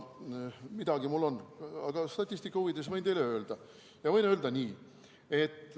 Midagi mul on, statistika huvides võin teile öelda.